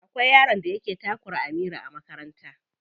Akwai yaron da yake takura Amira a makaranta.